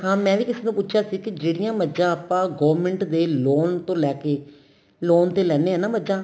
ਹਾਂ ਮੈਂ ਵੀ ਕਿਸੇ ਤੋਂ ਪੁੱਛਿਆ ਸੀ ਕੀ ਜਿਹੜੀਆਂ ਮੱਝਾ ਆਪਾਂ government ਦੇ loan ਤੋ ਲੈ ਕੇ loan ਤੇ ਲੈਣੇ ਆ ਨਾ ਮੱਝਾ